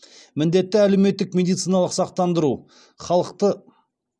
міндетті әлеуметтік медициналық сақтандыру халықты